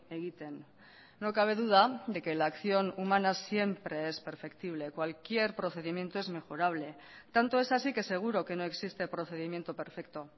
egiten no cabe duda de que la acción humana siempre es perceptible cualquier procedimiento es mejorable tanto es así que seguro que no existe procedimiento perfecto